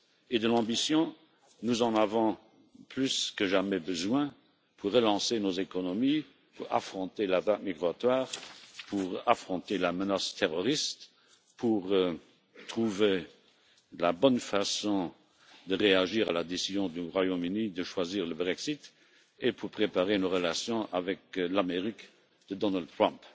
Et de l'ambition, nous en avons plus que jamais besoin pour relancer nos économies, pour affronter la vague migratoire, pour affronter la menace terroriste, pour trouver la bonne façon de réagir à la décision du Royaume-Uni de choisir le Brexit et pour préparer nos relations avec l'Amérique de Donald Trump.